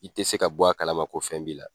I tɛ se ka bɔ a kala ma ko fɛn b'i la.